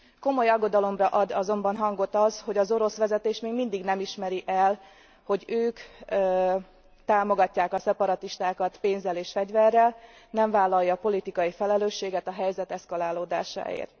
Komoly aggodalomra ad azonban okot az, hogy az orosz vezetés még mindig nem ismeri el, hogy ők támogatják a szeparatistákat pénzzel és fegyverrel, nem vállalja a politikai felelősséget a helyzet eszkalálódásáért.